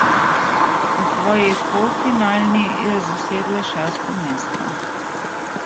V svoji polfinalni je zasedla šesto mesto.